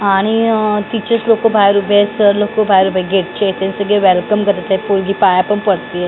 आणि तिचेच लोकं बाहेर उभे आहे सर लोकं बाहेर उभे गेटचे सगळे वेलकम करत आहे पोरगी पाया पण पडते.